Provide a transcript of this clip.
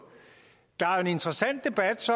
der er jo en interessant debat